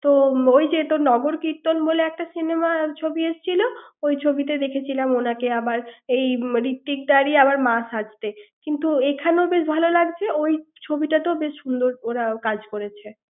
তো ওই যে নগর কীর্তন বলে একটা cinema ছবি এসছিল ওই ছবিতে দেখেছিলাম উনাকে আবার এই ঋত্বিক দার আবার সাজতে এইখানেও বেশ ভালো লাগছে ওই তুই ছবিটাতে খুব সুন্দর ওরা কাজ করেছে ৷